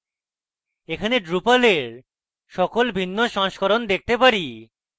এখানে drupal এর সকল ভিন্ন সংস্করণ দেখতে পারি